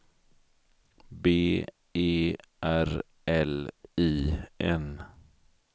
B E R L I N